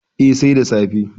Eh, sai da safe